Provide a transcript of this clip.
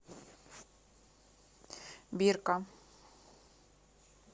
бирка